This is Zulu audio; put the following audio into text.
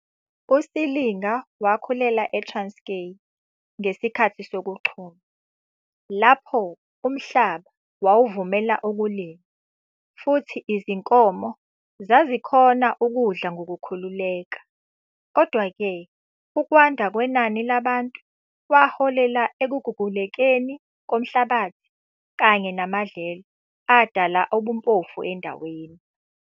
USilinga wakhulela e-Transkei ngesikhathi sokuchuma, lapho umhlaba wawuvumela ukulima futhi izinkomo zazikhona ukudla ngokukhululeka. Kodwa-ke, ukwanda kwenani labantu kwaholela ekugugulekeni komhlabathi kanye namadlelo adala ubumpofu endaweni.